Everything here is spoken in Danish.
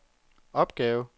opgave